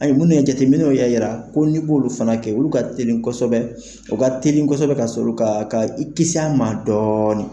Ayi mun ne jateminɛw y'a yira ko n'i b'olu fana kɛ olu ka teli kosɛbɛ, u ka teli kosɛbɛ ka sɔrɔ ka ka i kisi a ma dɔɔni.